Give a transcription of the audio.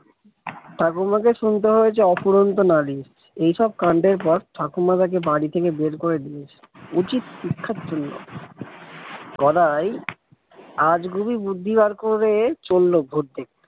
ঠাকুমাকে শুনতে হয়েছে অফুরন্ত নালিশ এইসব কাণ্ডের পর ঠাকুমা তাকে বাড়ি থেকে বের করে দিয়েছে উচিত শিক্ষার জন্য গদাই আজগুবি বুদ্ধি বার করে চলল ভূত দেখতে।